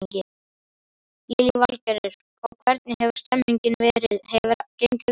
Lillý Valgerður: Og hvernig hefur stemningin verið, hefur gengið vel?